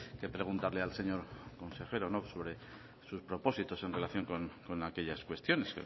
que preguntarle al señor consejero sobre sus propósitos en relación con aquellas cuestiones